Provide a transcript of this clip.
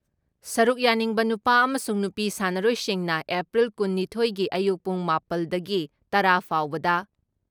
ꯁꯔꯨꯛ ꯌꯥꯅꯤꯡꯕ ꯅꯨꯄꯥ ꯑꯃꯁꯨꯡ ꯅꯨꯄꯤ ꯁꯥꯟꯅꯔꯣꯏꯁꯤꯡꯅ ꯑꯦꯄ꯭ꯔꯤꯜ ꯀꯨꯟ ꯅꯤꯊꯣꯏ ꯒꯤ ꯑꯌꯨꯛ ꯄꯨꯡ ꯃꯥꯄꯜ ꯇꯒꯤ ꯇꯔꯥ ꯐꯥꯎꯕꯗ